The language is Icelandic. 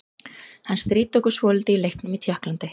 Hann stríddi okkur svolítið í leiknum í Tékklandi.